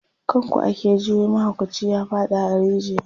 kan ku ake ji wai mahaukaci ya faɗa a rijiya